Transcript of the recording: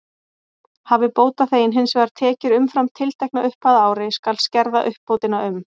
Hafi bótaþeginn hins vegar tekjur umfram tiltekna upphæð á ári, skal skerða uppbótina um